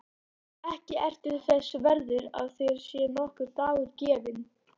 Ekki ertu þess verður að þér sé nokkur dagur gefinn.